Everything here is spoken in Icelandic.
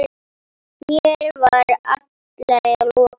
Mér var allri lokið.